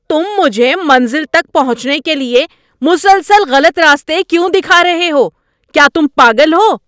تم مجھے منزل تک پہنچنے کیلئے مسلسل غلط راستے کیوں دکھا رہے ہو۔ کیا تم پاگل ہو؟